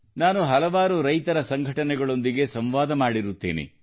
ನಾನು ಹಲವಾರು ರೈತರ ಸಂಘಟನೆಗಳೊಂದಿಗೆ ಸಂವಾದ ಮಾಡಿರುತ್ತೇನೆ